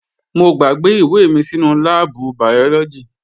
Mo gbàgbé ìwé mi sínú láàbù bàyọ́lọ́gì